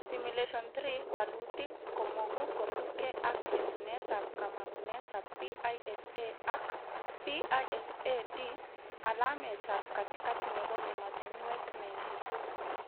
Simulation 3 walutik komogu kosubke ak letunetab kamangunetab PISA ak PISA-D, alametab katikati nebo ematinwek 92